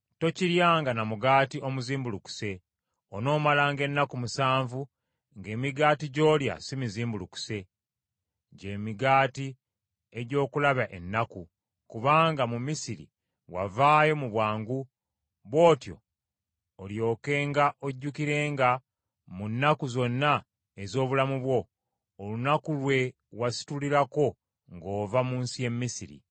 Tokiryanga na mugaati omuzimbulukuse. Onoomalanga ennaku musanvu ng’emigaati gy’olya si mizimbulukuse, gye migaati egy’okulaba ennaku, kubanga mu Misiri wavaayo mu bwangu, bw’otyo olyokenga ojjukirenga, mu nnaku zonna ez’obulamu bwo, olunaku lwe wasitulirako ng’ova mu nsi y’e Misiri.